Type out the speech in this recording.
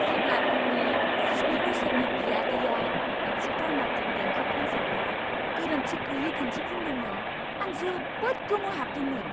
जेब्ला आंनि जिस्नि बोसोरनि बियादैआ मोनसे कार्नाटिक देंखो कन्सार्टआव गोरोन्थिगैयै दिन्थिफुंदोंमोन, आं जोबोद गोमोहाबदोंमोन!